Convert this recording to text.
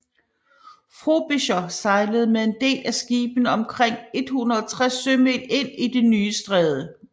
Frobisher sejlede med en del af skibene omkring 160 sømil ind i det nye stræde